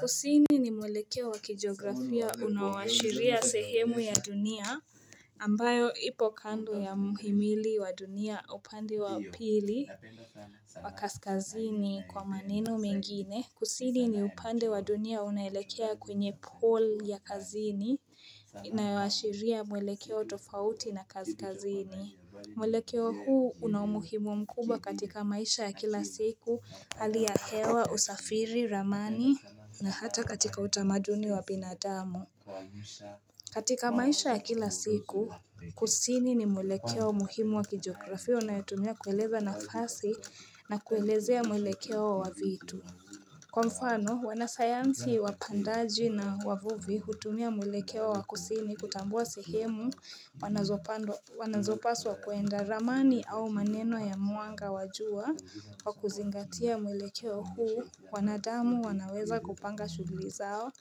Kusini ni mwelekeo wakijografia unaowashiria sehemu ya dunia, ambayo ipo kando ya muhimili wa dunia upande wa pili wa kaskazini kwa maneno mengine. Kusini ni upande wa dunia unaelekea kwenye poll ya kazini inayoashiria mwelekeo tofauti na kaskazini. Mwelekeo huu unaumuhimu mkubwa katika maisha ya kila siku, hali ya hewa, usafiri, ramani na hata katika utamaduni wa binadamu. Katika maisha ya kila siku, kusini ni mwelekeo muhimu wa kijografia unayotumia kueleza nafasi na kuelezea mwelekeo wa vitu. Kwa mfano, wanasayansi wapandaji na wavuvi hutumia mwelekeo wakusini kutambua sehemu wanazopandwa wanazopaswa kuenda. Ramani au maneno ya mwanga wa jua wakuzingatia mwelekeo huu, wanadamu wanaweza kupanga shuguli zao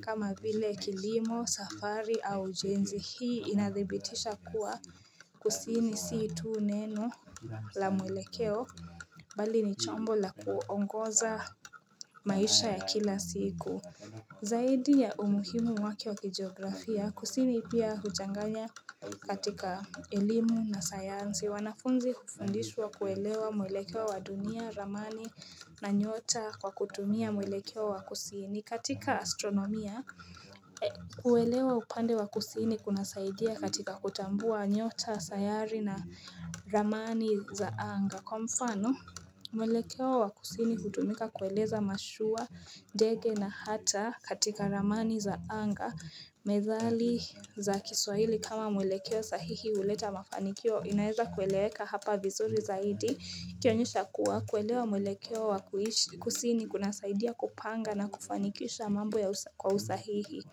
kama vile kilimo, safari au ujenzi hii inadhibitisha kuwa kusini si tu neno la mwelekeo, bali ni chombo la kuongoza maisha ya kila siku Zaidi ya umuhimu wake wa kijiografia, kusini pia huchanganya katika elimu na sayansi wanafunzi hufundishwa kuelewa mwelekeo wa dunia, ramani na nyota kwa kutumia mwelekeo wa kusini. Katika astronomia kuelewa upande wa kusini kunasaidia katika kutambua nyota, sayari na ramani za anga. Kwa mfano, mwelekeo wa kusini hutumika kueleza mashua, ndege na hata katika ramani za anga, methali za kiswahili kama mwelekeo sahihi huleta mafanikio, inaeza kueleweka hapa vizuri zaidi kionyesha kuwa kuelewa mwelekeo wa kuishi kusini kunasaidia kupanga na kufanikisha mambo ya usa kwa usahihi.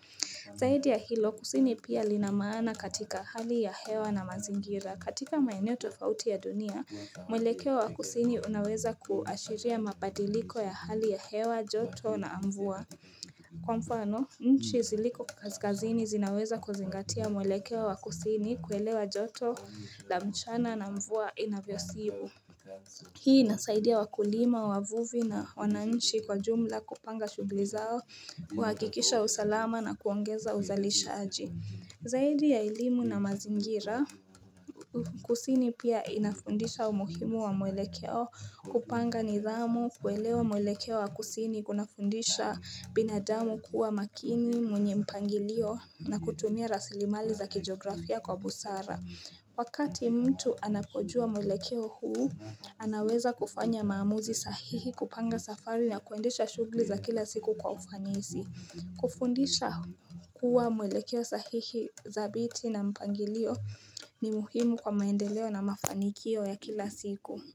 Zahidi ya hilo, kusini pia lina maana katika hali ya hewa na mazingira. Katika maeneo tofauti ya dunia, mwelekeo wa kusini unaweza kuashiria mabadiliko ya hali ya hewa, joto na mvua. Kwa mfano, nchi ziliko kaskazini zinaweza kuzingatia mwelekeo wa kusini kuelewa joto la mchana na mvua inavyosibu. Hii inasaidia wakulima, wavuvi na wananchi kwa jumla kupanga shughuli zao, kuhakikisha usalama na kuongeza uzalishaji. Zaidi ya elimu na mazingira, kusini pia inafundisha umuhimu wa mwelekeo, kupanga nidhamu, kuelewa mwelekeo wa kusini kunafundisha binadamu kuwa makini, mwenye mpangilio na kutumia rasilimali za kijografia kwa busara. Wakati mtu anapojua mwelekeo huu, anaweza kufanya maamuzi sahihi kupanga safari ya kuendesha shughuli za kila siku kwa ufanisi. Kufundisha kuwa mwelekeo sahihi dhabiti na mpangilio ni muhimu kwa maendeleo na mafanikio ya kila siku.